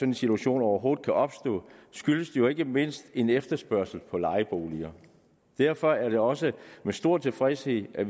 en situation overhovedet kan opstå skyldes det jo ikke mindst en stor efterspørgsel på lejeboliger derfor er det også med stor tilfredshed at